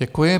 Děkuji.